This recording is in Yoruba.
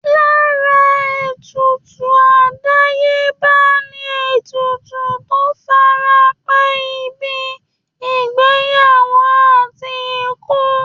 Lára ètùtù àdáyébá ni ètùtù tó fara pẹ́ ìbí, ìgbéyàwó, àti ikú